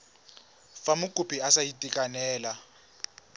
fa mokopi a sa itekanela